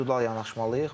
İndividual yanaşmalıyıq.